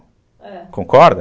É. Concorda?